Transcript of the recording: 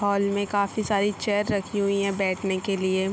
Hall में काफी सारी चेयर रखी हुई है बैठने के लिए।